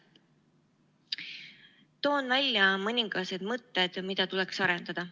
Toon välja mõningased mõtted, mida tuleks arendada.